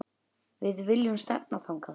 Við viljum stefna þangað.